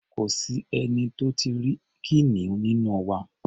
Kò sẹ́ni tó tí ì rí kìnìún nínú wa.